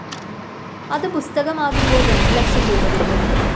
അതു പുസ്തകമാകുമ്പോള്‍ രണ്ടുലക്ഷംരൂപ കിട്ടും